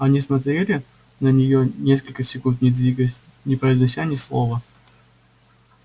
они смотрели на неё несколько секунд не двигаясь не произнося ни слова